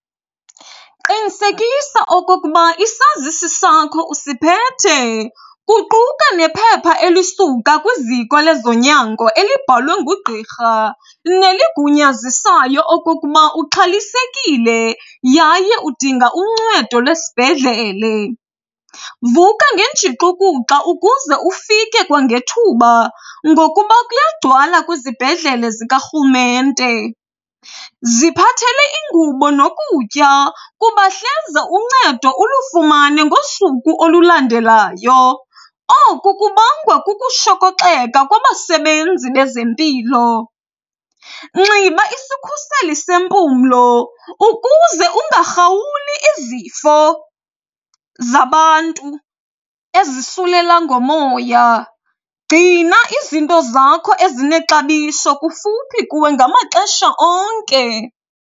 Qinisekisa okokuba isazisi sakho usiphethe, kuquka nephepha elisuka kwiziko lezonyango elibhalwe ngugqirha neligunyazisayo okokuba uxhalisekile yaye udinga uncedo lwesibhedlele. Vuka ngenjixukuxa ukuze ufike kwangethuba ngokuba kuyagcwala kwizibhedlele zikarhulumente. Ziphathele ingubo nokutya kuba hleze uncedo ulufumane ngosuku olulandelayo, oku kubangwa kukushokoxeka kwabasebenzi bezempilo. Nxiba isikhuseli sempumlo ukuze ungarhawuli izifo zabantu ezisulela ngomoya. Gcina izinto zakho ezinexabiso kufuphi kuwe ngamaxesha onke.